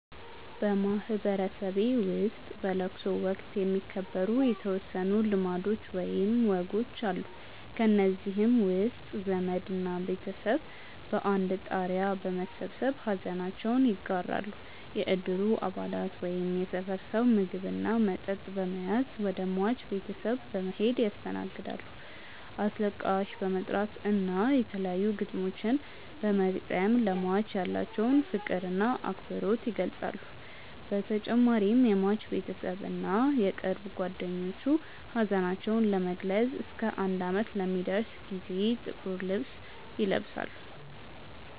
በማህበረሰቤ ውስጥ በለቅሶ ወቅት የሚከበሩ የተወሰኑ ልማዶች ወይም ወጎች አሉ። ከእነዚህም ውስጥ ዘመድ እና ቤተሰብ በአንድ ጣሪያ በመሰብሰብ ሐዘናቸውን ይጋራሉ፣ የእድሩ አባላት ወይም የሰፈር ሰው ምግብ እና መጠጥ በመያዝ ወደ ሟች ቤተሰብ በመሔድ ያስተናግዳሉ፣ አስለቃሽ በመጥራት እና የተለያዩ ግጥሞችን በመግጠም ለሟች ያላቸውን ፍቅር እና አክብሮት ይገልፃሉ በተጨማሪም የሟች ቤተሰብ እና የቅርብ ጓደኞቹ ሀዘናቸውን ለመግለፅ እስከ አንድ አመት ለሚደርስ ጊዜ ጥቁር ልብስ ይለብሳሉ።